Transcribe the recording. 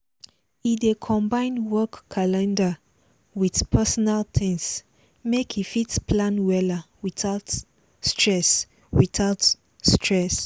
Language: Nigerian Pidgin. e dey combine work calender with personal things make e fit plan wella without stress without stress